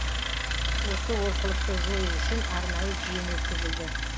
осы олқылықты жою үшін арнайы жиын өткізілді